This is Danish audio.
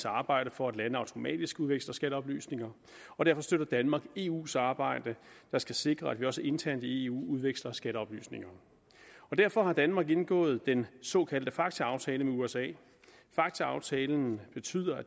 arbejde for at lande automatisk udveksler skatteoplysninger og derfor støtter danmark eus arbejde der skal sikre at vi også internt i eu udveksler skatteoplysninger derfor har danmark indgået den såkaldte facta aftale med usa facta aftalen betyder at